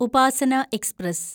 Upasana express